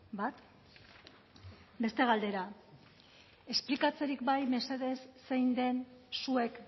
bat beste galdera esplikatzerik bai mesedez zein den zuek